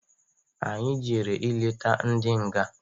Anyị jere i leta ndị nga.